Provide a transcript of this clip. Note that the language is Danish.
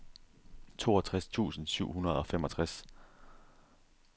toogtres tusind syv hundrede og femogtres